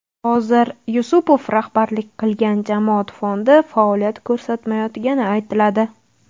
Hozir Yusupov rahbarlik qilgan jamoat fondi faoliyat ko‘rsatmayotgani aytiladi.